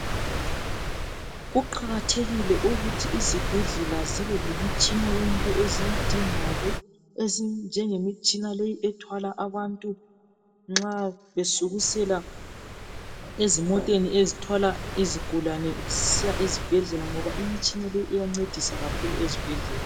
Kuqakathekile ukuthi izibhedlela zibe lemitshina yonke eziyidingayo ezinjengemitshina leyi ethwala abantu nxa besukisela ezimoteni ezithwala izigulane Zisiya ezibhedlela ngoba imitshina le iyancedisa kakhulu ezibhedlela